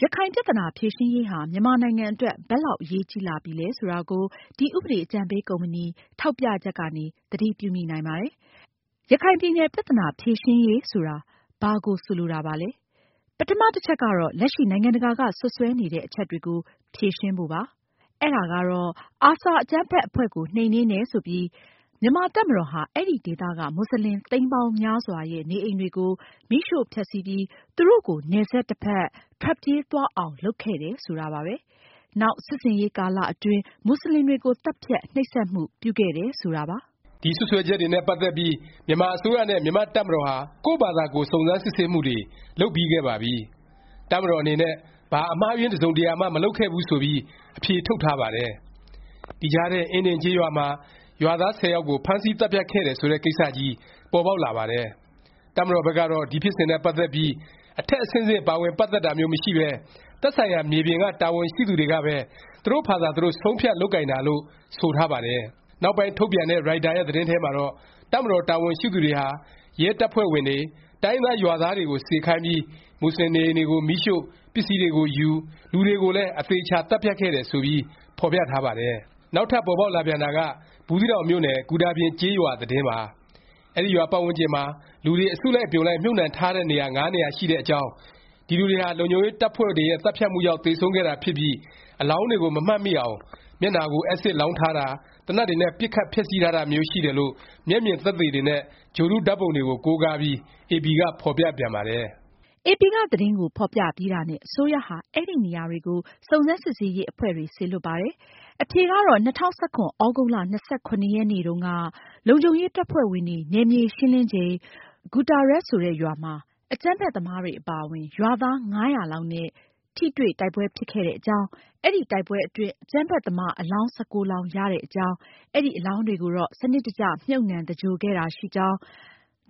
ရခိုင်ပြသနာ ဖြေရှင်းရေးဟာ မြန်မာနိုင်ငံအတွက် ဘယ်လောက် အရေးကြီးလာပြီလဲ ဆိုတာကို ဒီ ဥပဒေအကြံပေးကုမ္ပဏီ ထောက်ပြချက်ကနေ သတိပြုမိနိုင်ပါတယ်။ ရခိုင်ပြည်နယ် ပြသနာ ဖြေရှင်းရေး ဆိုတာ ဘာကို ဆိုလိုတာပါလဲ။ ပထမ တစ်ချက်ကတော့ လက်ရှိ နိုင်ငံတကာက စွတ်စွဲနေတဲ့ အချက်တွေကို ဖြေရှင်းဖို့ပါ။ အဲဒါကတော့ ARSA အကြမ်းဖက် အဖွဲ့ကို နှိမ်နင်းတယ် ဆိုပြီး မြန်မာ့တပ်မတော်ဟာ အဲဒီ ဒေသက မူဆလင် သိန်းပေါင်းများစွာရဲ့ နေအိမ်တွေကို မီးရှို့ဖျက်ဆီးပြီး သူတို့ကို နယ်စပ် တစ်ဖက် ထွက်ပြေးသွားအောင် လုပ်ခဲ့တယ် ဆိုတာပါပဲ။ နောက် စစ်ဆင်ရေးကာလ အတွင်း မူဆလင်တွေကို သတ်ဖြတ်၊ နှိပ်စက်မှု ပြုခဲ့တယ် ဆိုတာပါ။ ဒီစွတ်စွဲချက်တွေနဲ့ ပတ်သက်ပြီး မြန်မာအစိုးရနဲ့ မြန်မာ့တပ်မတော်ဟာ ကိုယ့်ဖာသာကိုယ် စုံစမ်းစစ်ဆေးမှုတွေ လုပ်ပြီးခဲ့ပါပြီ။ တပ်မတော် အနေနဲ့ ဘာ အမှားအယွင်း တစ်စုံတစ်ရာမှ မလုပ်ခဲ့ဖူးဆိုပြီး အဖြေထုတ်ထားပါတယ်။ ဒီကြားထဲ အင်းဒင်ကျေးရွာမှာ ရွာသား ၁၀ ယောက်ကို ဖမ်းဆီးသတ်ဖြတ်ခဲ့တယ် ဆိုတဲ့ ကိစ္စကြီး ပေါ်ပေါက်လာပါတယ်။ တပ်မတော်ဘက်ကတော့ ဒီ ဖြစ်စဉ်နဲ့ ပတ်သက်ပြီး အထက် အဆင့်ဆင့် ပါဝင်ပတ်သက်တာမျိုး မရှိပဲ သက်ဆိုင်ရာ မြေပြင်က တာဝန်ရှိသူတွေကပဲ သူတို့ဖာသာ သူတို့ ဆုံးဖြတ် လုပ်ကိုင်တာလို့ ဆိုထားပါတယ်။ နောက်ပိုင်း ထုတ်ပြန်တဲ့ ရိုက်တာ ရဲ့ သတင်းထဲမှာတော့ တပ်မတော် တာဝန်ရှိသူတွေဟာ ရဲတပ်ဖွဲ့ဝင်တွေ၊ တိုင်းရင်းသား ရွာသားတွေကို စေခိုင်းပြီး မူဆလင်နေအိမ်တွေကို မီးရှို့၊ ပစ္စည်းတွေကိုယူ၊ လူတွေကိုလည်း အသေအခြာ သတ်ဖြတ်ခဲ့တယ် ဆိုပြီး ဖော်ပြထားပါတယ်။ နောက်ထပ် ပေါ်ပေါက်လာပြန်တာက ဘူးသီးတောင်မြို့နယ် ဂူတာပြင် ကျေးရွာ သတင်းပါ။ အဲဒီရွာ ပတ်ဝန်းကျင်မှာ လူတွေအစုလိုက် အပြုံလိုက် မြှုပ်နှံထားတဲ့ နေရာ ၅ နေရာ ရှိတဲ့အကြောင်း၊ ဒီလူတွေဟာ လုံခြုံရေးတပ်ဖွဲ့တွေရဲ့ သတ်ဖြတ်မှုကြောင့် သေဆုံးခဲ့တာ ဖြစ်ပြီး အလောင်းတွေကို မမှတ်မိအောင် မျက်နှာကို အက်စစ်လောင်းထားတာ၊ သေနတ်တွေနဲ့ ပစ်ခတ် ဖျက်ဆီးထားတာမျိုး ရှိတယ်လို့ မျက်မြင်သက်သေတွေနဲ့ ဂြိုလ်တု ဓာတ်ပုံတွေကို ကိုးကားပြီး AP က ဖော်ပြပြန်ပါတယ်။ AP က သတင်းဖော်ပြပြီးတာနဲ့ အစိုးရဟာ အဲဒီနေရာကို စုံစမ်းစစ်ဆေးရေး အဖွဲ့တွေ စေလွှတ်ပါတယ်။ အဖြေကတော့ ၂၀၁၇ သြဂုတ်လ ၂၇ ရက်နေ့တုန်းက လုံခြုံရေး တပ်ဖွဲ့ဝင်တွေ နယ်မြေ ရှင်းလင်းချိန် ဂူတာရက်ရွာမှာ အကြမ်းဖက်သမားတွေ အပါအဝင် ရွာသား ၅၀၀ လောက်နဲ့ ထိတွေ့ တိုက်ပွဲ ဖြစ်ခဲ့တဲ့အကြောင်း၊ အဲဒီ တိုက်ပွဲအတွင်း အကြမ်းဖက်သမား အလောင်း ၁၉ လောင်း ရတဲ့အကြောင်း၊ အဲဒီ အလောင်းတွေကိုတော့ စနစ်တကျ မြှုပ်နှံသဂြိုလ်ခဲ့တာ ရှိကြောင်း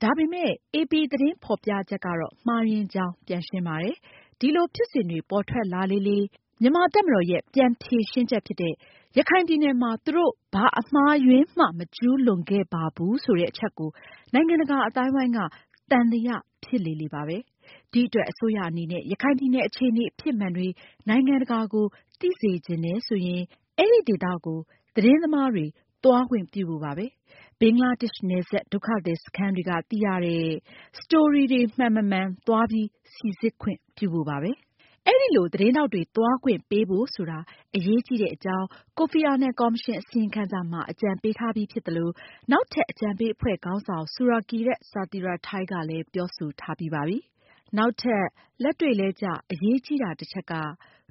၊ ဒါပေမယ့် AP သတင်းဖော်ပြချက်ကတော့ မှားယွင်းကြောင်း ပြန်ရှင်းပါတယ်။ ဒီလို ဖြစ်စဉ်တွေ ပေါ်ထွက်လာလေလေ၊ မြန်မာ့တပ်မတော်ရဲ့ ပြန်ဖြေရှင်းချက် ဖြစ်တဲ့ ရခိုင်ပြည်နယ်မှာ သူတို့ ဘာ အမှားအယွင်းမှ မကျူးလွန်ခဲ့ပါဘူး ဆိုတဲ့ အချက်ကို နိုင်ငံတကာ အသိုင်းအဝိုင်းက သံသယ ဖြစ်လေလေ ပါပဲ။ ဒီအတွက် အစိုးရအနေနဲ့ ရခိုင်ပြည်နယ် အခြေအနေ အဖြစ်မှန်တွေ နိုင်ငံတကာကို သိစေချင်တယ်ဆိုရင် အဲဒီ ဒေသကို သတင်းသမားတွေ သွားခွင့်ပြုဖို့ပါပဲ။ ဘင်္ဂလားဒေ့ရှ် နယ်စပ် ဒုက္ခသည် စခန်းတွေက သိရတဲ့ Story တွေမှန်မမှန် သွားပြီး စိစစ်ခွင့်ပြုဖို့ပါပဲ။ အဲလို သတင်းထောက်တွေ သွားခွင့်ပေးဖို့ဆိုတာ အရေးကြီးတဲ့အကြောင်း ကိုဖီအာနန် ကော်မရှင် အစီရင်ခံစာမှာ အကြံပေးထားပြီး ဖြစ်သလို၊ နောက်ထပ် အကြံပေး အဖွဲ့ခေါင်းဆောင် ဆူရာကီယက် ဆာသီရာထိုင်းကလည်း ပြောဆိုထားပြီးပါပြီ။ နောက်ထပ် လက်တွေ့လည်းကျ အရေးကြီးတာ တစ်ချက်က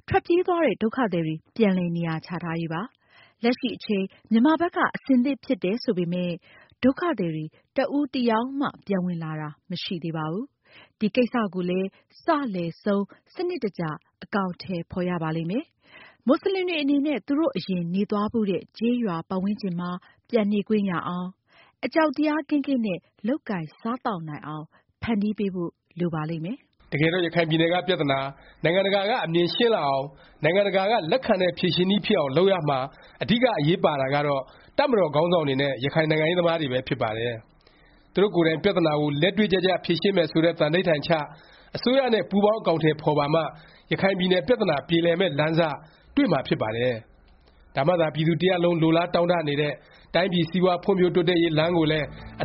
ထွက်ပြေးသွားတဲ့ ဒုက္ခသည်တွေ ပြန်လည် နေရာချထားရေးပါ။ လက်ရှိ အချိန် မြန်မာဘက်က အဆင်သင့်ဖြစ်တယ် ဆိုပေမယ့် ဒုက္ခသည်တွေ တစ်ဦးတစ်ယောက်မှ ပြန်ဝင်လာတာ မရှိသေးပါဘူး။ ဒီကိစ္စကိုလည်း စ၊ လယ်၊ ဆုံး စနစ်တကျ အကောင်အထည် ဖော်ရပါလိမ့်မယ်။ မူဆလင်တွေ အနေနဲ့ သူတို့ အရင်နေသွားဖူးတဲ့ ကျေးရွာပတ်ဝန်းကျင်မှာ ပြန်နေခွင့်ရအောင်၊ အကြောက်တရား ကင်းကင်းနဲ့ လုပ်ကိုင်စားသောက်နိုင်အောင် ဖန်တီးပေးဖို့ လိုပါလိမ့်မယ်။ တကယ်တော့ ရခိုင်ပြည်နယ်က ပြသနာ၊ နိုင်ငံတကာက အမြင်ရှင်းလာအောင်၊ နိုင်ငံတကာက လက်ခံတဲ့ ဖြေရှင်းနည်းဖြစ်အောင် လုပ်ရာမှာ အဓိက အရေးပါတာကတော့ တပ်မတော်ခေါင်းဆောင်တွေနဲ့ ရခိုင်နိုင်ငံရေးသမားတွေပဲ ဖြစ်ပါတယ်။ သူတို့ကိုယ်တိုင် ပြသနာကို လက်တွေ့ကျကျ ဖြေရှင်းမယ် ဆိုတဲ့ သံန္ဓိဌာန်ချ၊ အစိုးရနဲ့ ပူးပေါင်း အကောင်အထည် ဖော်ပါမှ ရခိုင်ပြည်နယ်ပြသနာ ပြေလည်မယ့် လမ်းစ တွေ့မှာ ဖြစ်ပါတယ်။ ဒါမှသာ ပြည်သူ တစ်ရပ်လုံး လိုလားတောင့်တ နေတဲ့ တိုင်းပြည် စီးပွား ဖွံ့ဖြိုးတိုးတက်ရေး လမ်းကိုလည်း အန